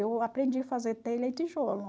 Eu aprendi a fazer telha e tijolo.